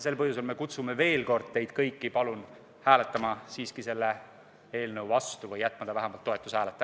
Sellel põhjusel kutsume veel kord teid kõiki, palun, hääletama selle eelnõu vastu või jätma ta vähemalt toetushääleta.